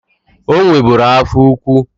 O nweburu afọ ukwu.